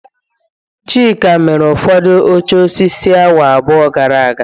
Chima mere ụfọdụ oche osisi awa abụọ gara aga